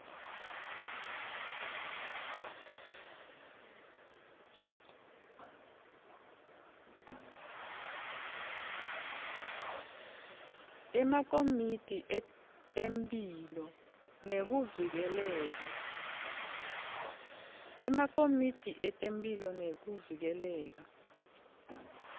emakomiti etemphilo nekuvikeleka